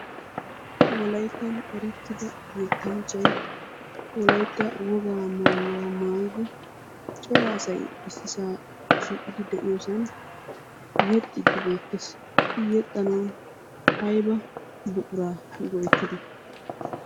Wolayittan erettiida yettanchay wolayitta wogaa maayuwa maayidi cora asay issisaa shiiqidi de"iyoosan yexxiiddi beettes. I yexxanawu ayba buquraa go"ettidee?